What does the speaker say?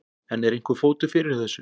En er einhver fótur fyrir þessu?